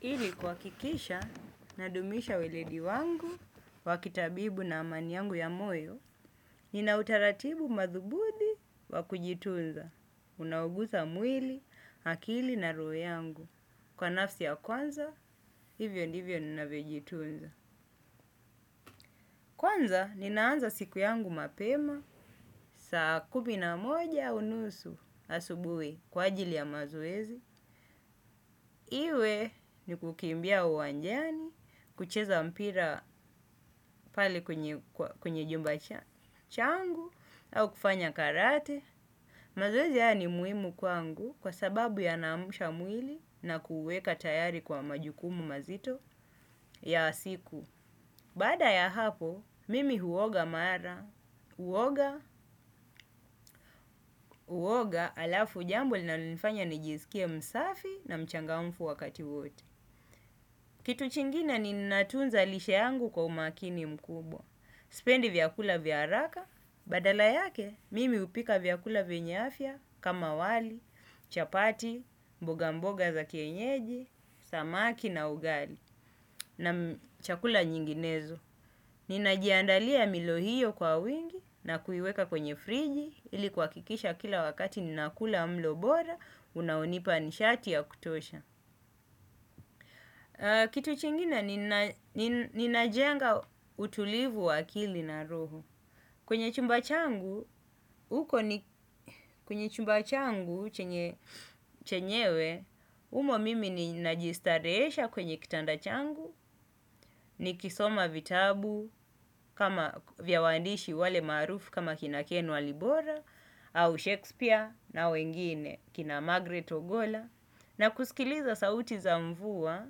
Ili kuha kikisha nadumisha weledi wangu, wakitabibu na amani yangu ya moyo, nina utaratibu madhubudi wakujitunza. Unaogusa mwili, akili na roho yangu. Kwa nafsi ya kwanza, hivyo ndivyo ninavyojitunza. Kwanza, ninaanza siku yangu mapema, saa kumi na moja aunusu asubui kwa ajili ya mazoezi. Iwe ni kukimbia uwanjani, kucheza mpira pale kwenye jumba changu au kufanya karate. Mazoezi haya ni muhimu kwangu kwa sababu yanaamsha mwili na kuuweka tayari kwa majukumu mazito ya asiku. Baada ya hapo, mimi huoga mara, huoga, huoga alafu jambo linalonifanya nijisikie msafi na mchangamfu wakati wote. Kitu chingine ni natunza lishe yangu kwa umakini mkubwa. Sipendi vyakula vyaharaka, badala yake mimi hupika vyakula vyenye afya kama wali, chapati, mboga mboga za kienyeji, samaki na ugali na chakula nyinginezo. Ninajiandalia milo hiyo kwa wingi na kuiweka kwenye friji ilikuhakikisha kila wakati nina kula mlo bora unaonipa nishati ya kutosha. Kitu chingine ninajenga utulivu wa akili na roho. Kwenye chumbachangu, uko ni kwenye chumbachangu chenyewe, umo mimi ni najistarehesha kwenye kitandachangu, nikisoma vitabu kama vya waandishi wale maarufu kama kina kenwali bora, au Shakespear na wengine kina Magreth Ogola, na kusikiliza sauti za mvua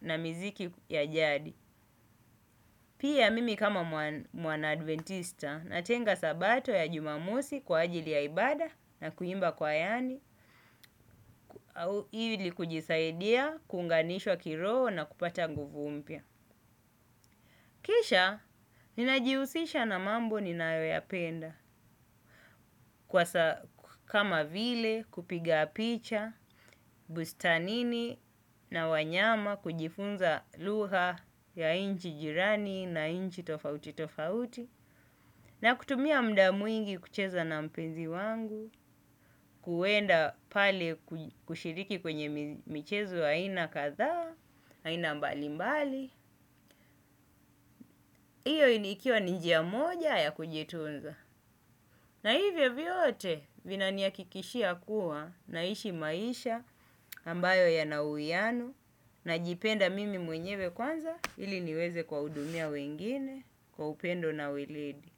na miziki ya jadi. Pia mimi kama mwana adventista natenga sabato ya jumamosi kwa ajili ya ibada na kuimba kwayani. Au ili kujisaidia, kuunganishwa kiroho na kupata nguvu mpya. Kisha, ninajihusisha na mambo ninayoyapenda. Kwa kama vile kupiga picha bustanini na wanyama, kujifunza lugha ya inchi jirani na inchi tofauti tofauti na kutumia mda mwingi kucheza na mpenzi wangu, kuwenda pale kushiriki kwenye michezo aina kadhaa, aina mbali mbali. Iyo inikiwa ni njia moja ya kujitunza. Na hivyo vyote vinanihakikishia kuwa naishi maisha ambayo yana uwiano najipenda mimi mwenyewe kwanza ili niweze kuwahudumia wengine kwa upendo na weledi.